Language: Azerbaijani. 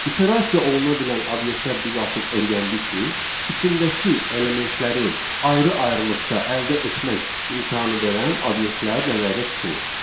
İterasiya oluna bilən obyektlər biz artıq öyrəndik ki, içindəki elementləri ayrı-ayrılıqda əldə etmək imkanı verən obyektlər nəzərdə tutulur.